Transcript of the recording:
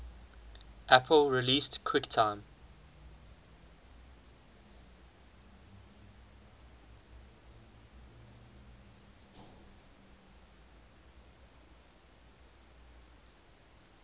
apple released quicktime